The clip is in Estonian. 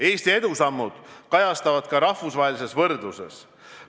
Eesti edusammud kajastuvad ka rahvusvahelises võrdluses.